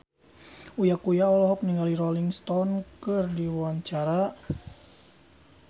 Uya Kuya olohok ningali Rolling Stone keur diwawancara